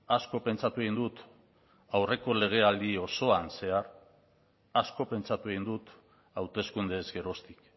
asko pentsatu egin dut aurreko legealdi osoan zehar asko pentsatu egin dut hauteskundeez geroztik